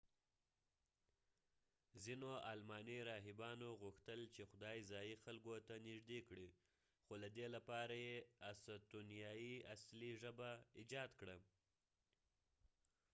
ځینو آلماني راهبانو غوښتل چې خدای ځایي خلکو ته نژدې کړي نو له دې لپاره یې استونیایي اصلي ژبه ایجاد کړه